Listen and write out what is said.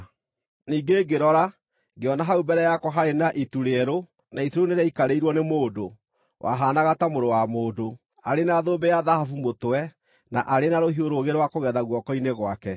Ningĩ ngĩrora, ngĩona hau mbere yakwa haarĩ na itu rĩerũ, na itu rĩu nĩrĩaikarĩirwo nĩ mũndũ “wahaanaga ta mũrũ wa mũndũ” arĩ na thũmbĩ ya thahabu mũtwe, na arĩ na rũhiũ rũũgĩ rwa kũgetha guoko-inĩ gwake.